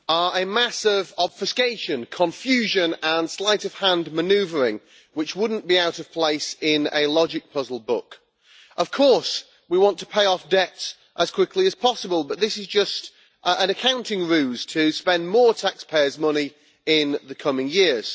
Mr President, these reports are a massive obfuscation, confusion and sleight of hand manoeuvring which would not be out of place in a logic puzzle book. Of course we want to pay off debts as quickly as possible, but this is just an accounting ruse to spend more taxpayers' money in the coming years.